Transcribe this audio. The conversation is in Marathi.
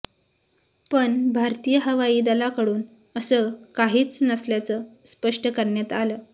पण भारतीय हवाईदलाकडून असं काहीच नसल्याचं स्पष्ट करण्यात आलं